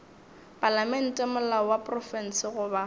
palamente molao wa profense goba